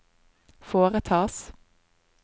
foretas